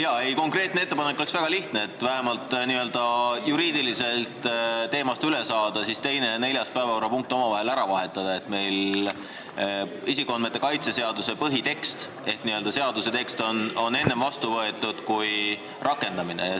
Jaa, konkreetne ettepanek on väga lihtne: et vähemalt n-ö juriidiliselt teemast üle saada, siis tuleks 2. ja 4. päevakorrapunkt omavahel ära vahetada, nii et isikuandmete kaitse seaduse põhitekst ehk n-ö seaduse tekst saaks enne vastu võetud kui rakendamisseaduse tekst.